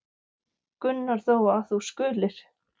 Gunnar þó, að þú skulir.